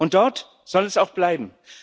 Und dort soll sie auch bleiben.